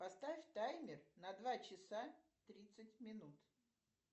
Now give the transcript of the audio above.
поставь таймер на два часа тридцать минут